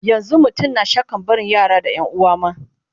yanzun mutum na shakkan barin yara da yanuwa ma